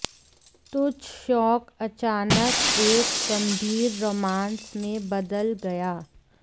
तुच्छ शौक अचानक एक गंभीर रोमांस में बदल गया